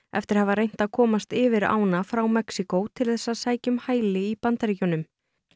eftir að hafa reynt að komast yfir ána frá Mexíkó til þess að sækja um hæli í Bandaríkjunum